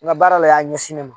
N ka baara la y'a ɲɛsin ne ma